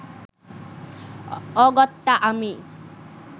অগত্যা আমি